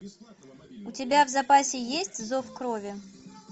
у тебя в запасе есть зов крови